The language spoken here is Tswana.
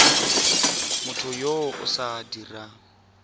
motho yo o sa dirang